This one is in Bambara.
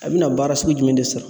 A bi na baara sugu jumɛn de sɔrɔ